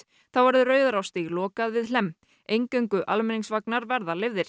þá verður Rauðarárstíg lokað við Hlemm eingöngu almenningsvagnar verða leyfðir